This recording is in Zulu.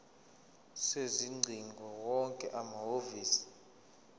sezingcingo wonke amahhovisi